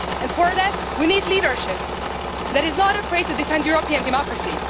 For that we need a leadership that is not afraid to defend European democracy.